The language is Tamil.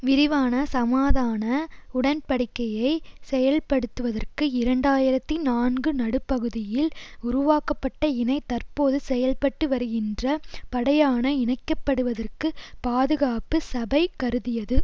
விரிவான சமாதான உடன்படிக்கையை செயல்படுத்துவதற்கு இரண்டாயிரத்தி நான்கு நடுப்பகுதியில் உருவாக்கப்பட்ட இனை தற்போது செயல்பட்டு வருகின்ற படையான இணைக்க படுவதற்கு பாதுகாப்பு சபை கருதியது